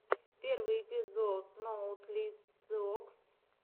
первый эпизод ноутлициокс